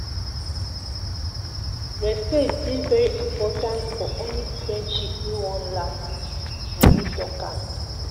Respect dey very important for any friendship wey wan last nah me talk am.